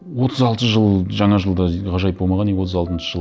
отыз алты жыл жаңа жылда ғажайып болмаған и отыз алтыншы жыл